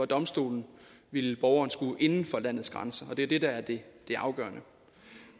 domstolen ville borgeren skulle inden for landets grænser det er det der er det afgørende